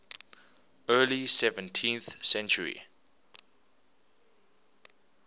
early seventeenth century